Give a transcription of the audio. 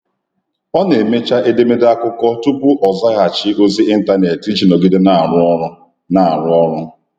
Ọ na-emecha edemede akụkọ tupu ọ zaghachi ozi ịntanetị iji nọgide na-arụ ọrụ. na-arụ ọrụ.